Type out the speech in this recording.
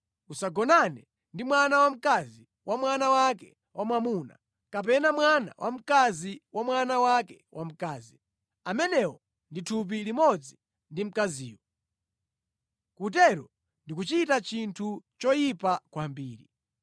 “ ‘Usagonane ndi mkazi ndiponso mwana wake wamkazi. Usagonane ndi mwana wamkazi wa mwana wake wamwamuna, kapena mwana wamkazi wa mwana wake wamkazi. Amenewo ndi thupi limodzi ndi mkaziyo. Kutero ndikuchita chinthu choyipa kwambiri.